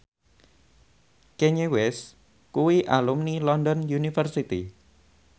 Kanye West kuwi alumni London University